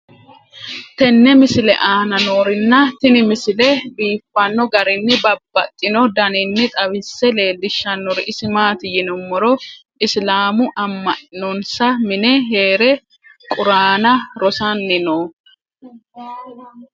tenne misile aana noorina tini misile biiffanno garinni babaxxinno daniinni xawisse leelishanori isi maati yinummoro isilaamu ama'nanonnsa mine heere quraanna rosanni noo